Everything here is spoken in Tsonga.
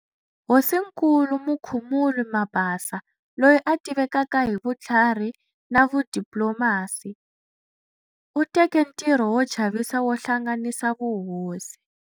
Hosinkulu Mukhumuli Mabasa, loyi a tivekaka hi vutlhari na vudiplomasi, u teke ntirho wo chavisa wo hlanganisa vuhosi.